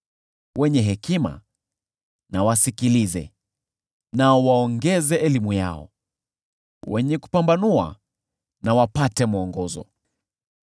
wenye hekima na wasikilize nao waongeze elimu yao, wenye kupambanua na wapate mwongozo;